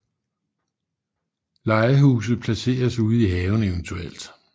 Legehuse placeres ude i haven evt